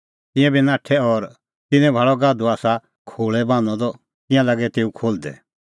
तिंयां बी नाठै और तिन्नैं भाल़अ गाधू आसा खोल़ै बान्हअ द तिंयां लागै तेऊ खोल्हदै